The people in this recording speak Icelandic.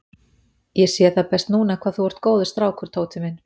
Ég sé það best núna hvað þú ert góður strákur, Tóti minn.